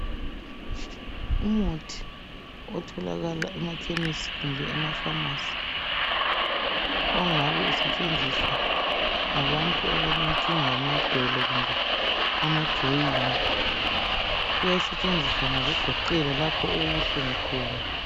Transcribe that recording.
Umuthi othalakala emakhemisi kumbe emapharmacy, ongabe usetshenziswa ngabantu abalenkinga yamadolo kumbe amajoyini. Uyasetshenziswa ngokugoqela lapho okubuhlungu khona.